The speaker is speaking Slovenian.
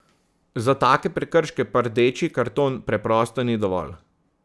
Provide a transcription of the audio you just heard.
Za take prekrške pa rdeči karton preprosto ni dovolj.